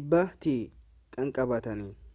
100 tti kanqabataniitti